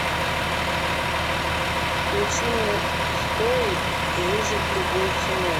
включи мне стоик выжить любой ценой